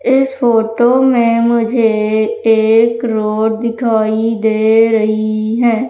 इस फोटो में मुझे एक रोड दिखाई दे रही है।